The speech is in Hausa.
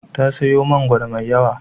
Ta sayo mangwaro mai yawa.